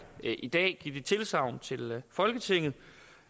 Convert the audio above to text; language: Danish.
i dag give det tilsagn til folketinget